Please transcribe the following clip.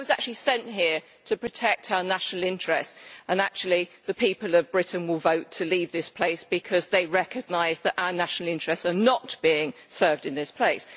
I was actually sent here to protect our national interest, and actually the people of Britain will vote to leave this place, because they recognise that our national interests are not being served in this place.